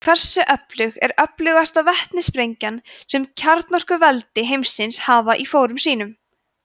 hversu öflug er öflugasta vetnissprengjan sem kjarnorkuveldi heimsins hafa í fórum sínum